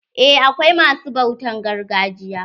Eh akwai ma su bautan gargajiya.